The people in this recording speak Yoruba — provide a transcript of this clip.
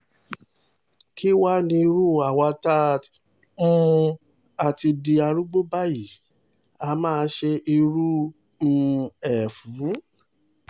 kí wàá ní irú àwa tá um a ti di arúgbó báyìí àá máa ṣe irú um ẹ̀ fún